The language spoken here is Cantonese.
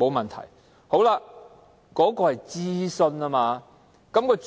沒有問題。